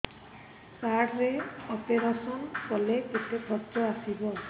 card ରେ operation କଲେ କେତେ ଖର୍ଚ ଆସିବ